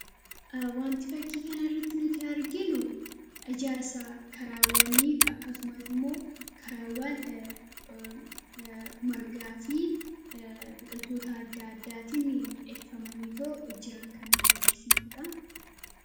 wanti fakkii kan irratti nuti arginu ijaarsa karaawwaniif akkasumas immoo karaawwan margaa fi biqiltoota adda addaatin midheekfamanii too jiran kanutti agarsiisuudha